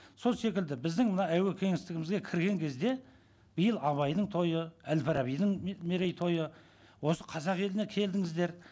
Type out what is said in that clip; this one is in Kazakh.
сол секілді біздің мына әуе кеңістігімізге кірген кезде биыл абайдың тойы әл фарабидің мерейтойы осы қазақ еліне келдіңіздер